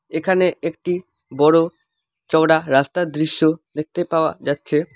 এখানে একটি বড় চওড়া রাস্তার দৃশ্য দেখতে পাওয়া যাচ্ছে।